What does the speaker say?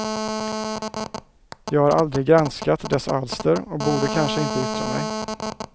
Jag har aldrig granskat dess alster och borde kanske inte yttra mig.